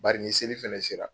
Bari ni seli fana sera